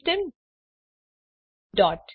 system dot